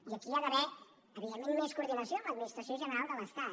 i aquí hi ha d’haver evidentment més coordinació amb l’administració general de l’estat